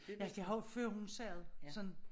Altså jeg har jo før hun sagde det sådan